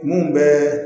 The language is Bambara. Mun bɛɛ